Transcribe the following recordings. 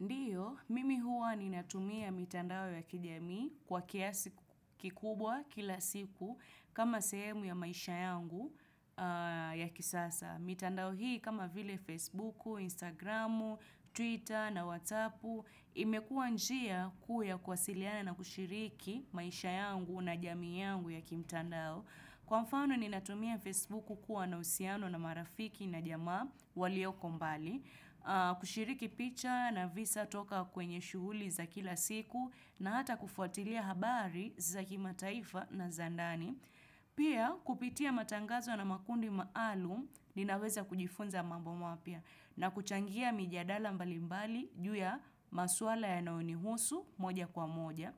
Ndiyo, mimi huwa ninatumia mitandao ya kijamii kwa kiasi kikubwa kila siku kama sehemu ya maisha yangu ya kisasa. Mitandao hii kama vile Facebooku, Instagramu, Twitter na WhatsAppu imekuwa njia kuu ya kuwasiliana na kushiriki maisha yangu na jamii yangu ya kimtandao. Kwa mfano ni natumia Facebook kuwa na uhusiano na marafiki na jamaa walioko mbali, kushiriki picha na visa toka kwenye shuhuli za kila siku na hata kufuatilia habari za kimataifa na za ndani. Pia kupitia matangazo na makundi maalum ninaweza kujifunza mambo mapya na kuchangia mijadala mbali mbali juu ya maswala yanaonihusu moja kwa moja.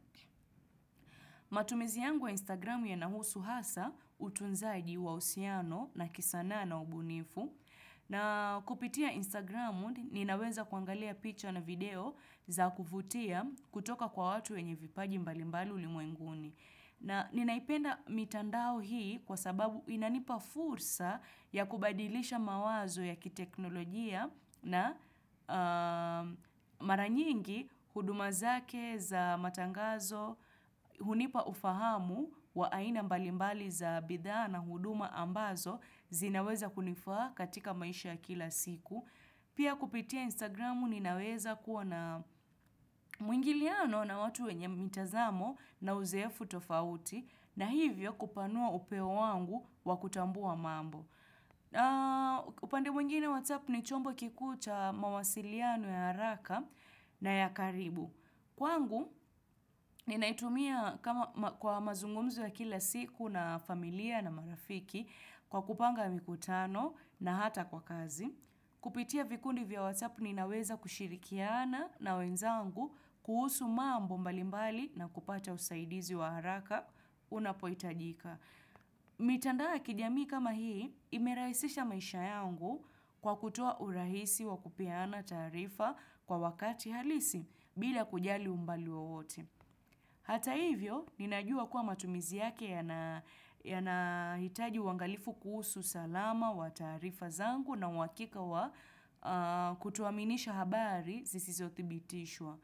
Matumizi yangu ya instagramu yanahusu hasa utunzaji wa uhusiano na kisanaa na ubunifu na kupitia instagramu ninaweza kuangalia picture na video za kuvutia kutoka kwa watu wenye vipaji mbalimbali ulimwenguni. Na ninaipenda mitandao hii kwa sababu inanipa fursa ya kubadilisha mawazo ya kiteknolojia na mara nyingi huduma zake za matangazo, hunipa ufahamu wa aina mbalimbali za bidhaa na huduma ambazo zinaweza kunifaa katika maisha ya kila siku. Pia kupitia Instagramu ninaweza kuwa na mwingiliano na watu wenye mitazamo na uzeefu tofauti na hivyo kupanua upeo wangu wakutambua mambo. Upande mwingine WhatsApp ni chombo kikuu cha mawasiliano ya haraka na ya karibu. Kwangu, ninaitumia kwa mazungumzo ya kila siku na familia na marafiki kwa kupanga mikutano na hata kwa kazi. Kupitia vikundi vya whatsappu ninaweza kushirikiana na wenzangu kuhusu mambo mbalimbali na kupata usaidizi wa haraka unapohitajika. Mitandao ya kijamii kama hii imerahisisha maisha yangu kwa kutoa urahisi wa kupeana taarifa kwa wakati halisi bila kujali umbali wowote. Hata hivyo, ninajua kuwa matumizi yake yanahitaji uangalifu kuhusu salama wa taarifa zangu na uakika wa kutuaminisha habari zisizo thibitishwa.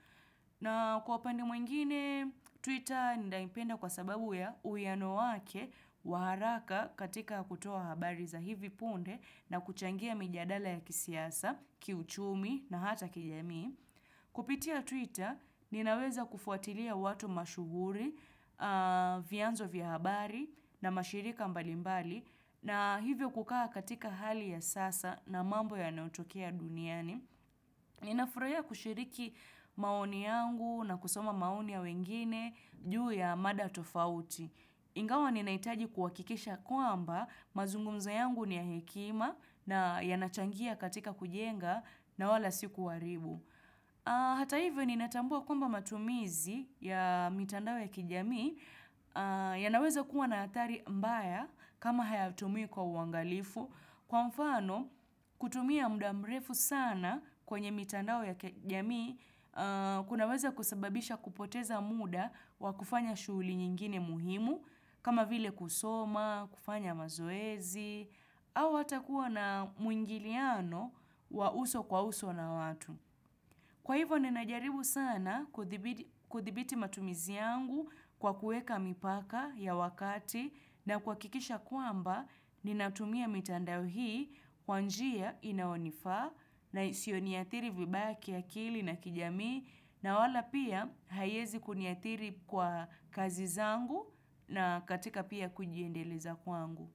Na kwa upande mwingine, Twitter naipenda kwa sababu ya uwiano wake wa haraka katika kutoa habari za hivi punde na kuchangia mijadala ya kisiasa, kiuchumi na hata kijamii. Kupitia Twitter ninaweza kufuatilia watu mashuhuri, vyanzo vya habari na mashirika mbalimbali na hivyo kukaa katika hali ya sasa na mambo yanaotokea duniani. Ninafurahia kushiriki maoni yangu na kusoma maoni ya wengine juu ya mada tofauti. Ingawa ninahitaji kuhakikisha kwamba mazungumzo yangu ni ya hekima na yanachangia katika kujenga na wala sikuharibu. Hata hivyo ninatambua kwamba matumizi ya mitandao ya kijamii yanaweza kuwa na athari mbaya kama hayatumiwi kwa uangalifu. Kwa mfano kutumia muda mrefu sana kwenye mitandao ya kijamii kunaweza kusababisha kupoteza muda wa kufanya shughuli nyingine muhimu kama vile kusoma, kufanya mazoezi au hata kuwa na muingiliano wa uso kwa uso na watu. Kwa hivyo ninajaribu sana kuthibiti matumizi yangu kwa kuweka mipaka ya wakati na kuhakikisha kwamba ninatumia mitandao hii kwa njia inaonifaa na isiyoniathiri vibaya kiakili na kijamii na wala pia haiwezi kuniathiri kwa kazi zangu na katika pia kujiendeleza kwangu.